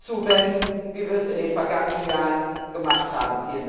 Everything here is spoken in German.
zuwenden, wie wir es in den vergangenen Jahren gemacht haben.